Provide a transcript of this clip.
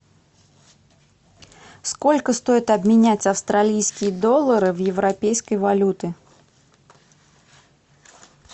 сколько стоит обменять австралийские доллары в европейской валюты